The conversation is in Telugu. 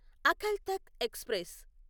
అకల్ తఖ్త్ ఎక్స్ప్రెస్